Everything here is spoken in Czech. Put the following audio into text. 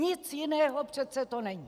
Nic jiného přece to není.